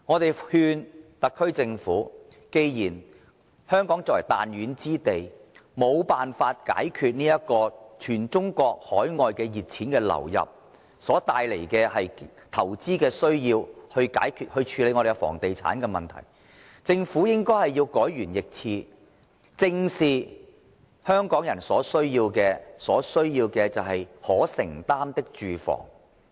我們勸誡特區政府，既然香港這個彈丸之地，無辦法解決因全中國及海外熱錢流入所帶來的投資需要，無法處理房地產的問題，那麼政府便應改弦易轍，正視香港人所需，提供市民可承擔的住房。